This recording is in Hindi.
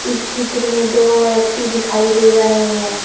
इस चित्र में दो व्यक्ति दिखाई दे रहे हैं।